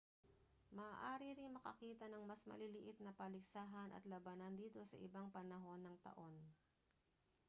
maaari ring makakita ng mas maliliit na paligsahan at labanan dito sa ibang panahon ng taon